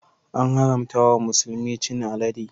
An haramta wa musulmi chin alade.